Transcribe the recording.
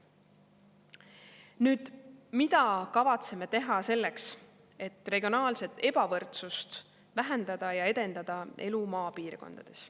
Nüüd, mida kavatseme teha selleks, et regionaalset ebavõrdsust vähendada ja edendada elu maapiirkondades.